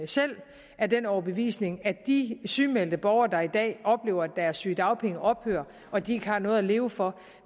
selv af den overbevisning at de sygemeldte borgere der i dag oplever at deres sygedagpenge ophører og at de ikke har noget at leve for